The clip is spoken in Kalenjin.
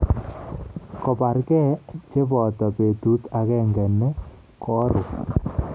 Kobargei cheboto betut agenge ne korup